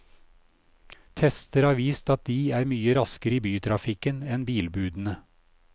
Tester har vist at de er mye raskere i bytrafikken enn bilbudene.